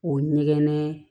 O ɲɛgɛn